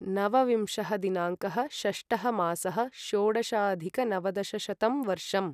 नवविंशः दिनाङ्कः षष्टः मासः षोडशाधिकनवदशशतं वर्षम्